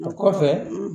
O kɔfɛ